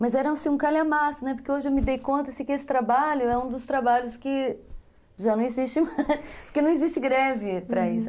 Mas era um calhamaço, porque hoje eu me dei conta que esse trabalho é um dos trabalhos que já não existe mais, uhum, porque não existe greve para isso.